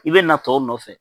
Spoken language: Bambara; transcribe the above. I bɛ na tɔw nɔfɛ.